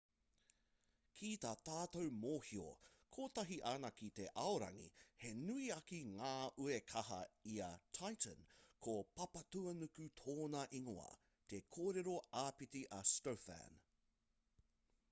ki tā tātou mōhio kotahi anake te aorangi he nui ake ngā uekaha i a titan ko papatūānuku tōna ingoa te kōrero āpiti a stofan